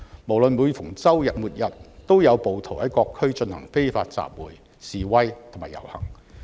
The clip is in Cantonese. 每逢周末、周日都有暴徒在各區進行非法集會、示威及遊行。